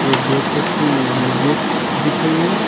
एक गेट रखी गेट दिख रही है।